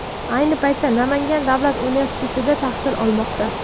Ayni paytda Namangan davlat universitetida tahsil olmoqda.